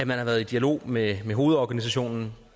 man har været i dialog med hovedorganisationen